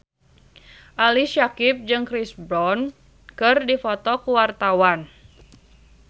Ali Syakieb jeung Chris Brown keur dipoto ku wartawan